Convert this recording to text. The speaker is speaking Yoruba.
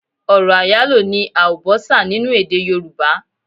Ọ̀rọ̀ àyálò ni àùbọ́sà nínú èdè yorùbá.